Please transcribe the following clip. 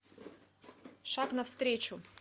шаг навстречу